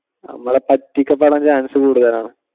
നമ്മളെ പറ്റിക്കപെടാൻ chance കൂടുതൽ ആണ്.